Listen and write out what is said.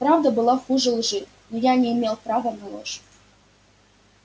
правда была хуже лжи но я не имел права на ложь